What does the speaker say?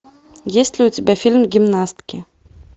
есть ли у тебя фильм гимнастки